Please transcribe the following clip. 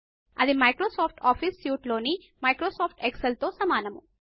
అది Microsoft office suite లోని Microsoft excel తో సమానము